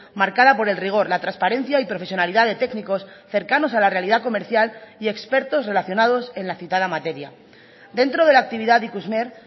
marcada por el rigor la transparencia y profesionalidad de técnicos cercanos a la realidad comercial y expertos relacionados en la citada materia dentro de la actividad de ikusmer